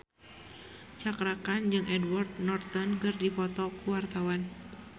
Cakra Khan jeung Edward Norton keur dipoto ku wartawan